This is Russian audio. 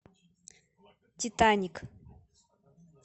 титаник